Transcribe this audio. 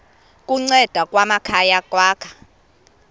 kunceda amakhaya ukwakha